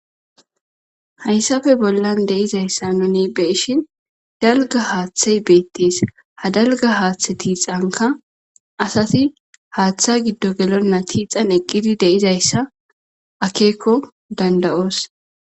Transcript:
Haysappe bollan de'izaysa nuni beyishn dalga haathey betes, ha dalga haathe tixanaka asati Hatha gido gelena tixan de'zayaysa akeko danda'os.